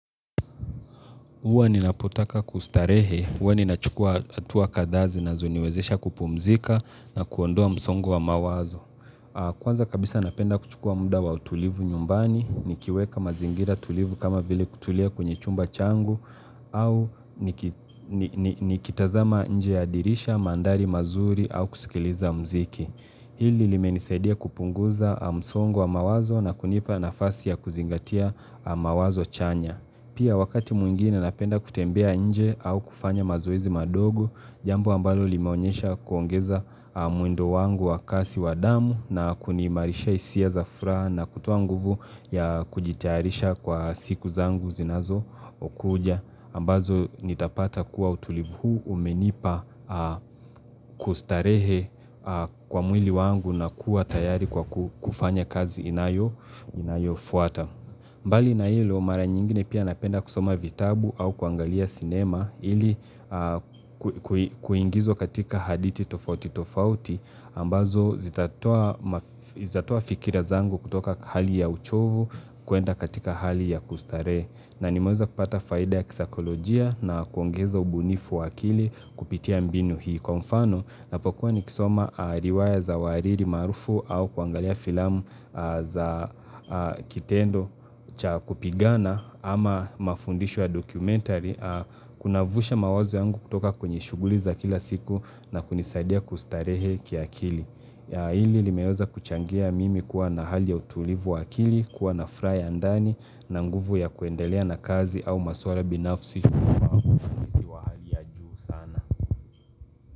Huwa ninapotaka kustarehe, huwa ninachukua hatua kadhaa zinazoniwezesha kupumzika na kuondoa msongo wa mawazo. Kwanza kabisa napenda kuchukua muda wa utulivu nyumbani, nikiweka mazingira tulivu kama vile kutulia kwenye chumba changu, au nikitazama nje ya dirisha mandhari mazuri au kusikiliza mziki. Hili limenisaidia kupunguza msongo wa mawazo na kunipa nafasi ya kuzingatia mawazo chanya. Pia wakati mwingine napenda kutembea nje au kufanya mazoezi madogo, jambo ambalo limeonyesha kuongeza mwendo wangu wa kasi wa damu na kuniimarishia hisia za furaha na kutoa nguvu ya kujitayarisha kwa siku zangu zinazokuja. Ambazo nitapata kuwa utulivu huu umenipa kustarehe kwa mwili wangu na kuwa tayari kwa kufanya kazi inayofuata. Mbali na hilo mara nyingine pia napenda kusoma vitabu au kuangalia cinema ili kuingizwa katika hadithi tofauti tofauti ambazo zitatoa fikira zangu kutoka hali ya uchovu kuenda katika hali ya kustarehe. Na nimeanza kupata faida ya kisaikolojia na kuongeza ubunifu wa akili kupitia mbinu hii kwa mfano ninapokuwa nikisoma riwaya za wahariri maarufu au kuangalia filamu za kitendo cha kupigana ama mafundisho ya dokumentari Kunavusha mawazo yangu kutoka kwenye shughuli za kila siku na kunisadia kustarehe kiakili. Ya hili limeweza kuchangia mimi kuwa na hali ya utulivu wa akili kuwa na furaha ya ndani na nguvu ya kuendelea na kazi au maswala binafsi.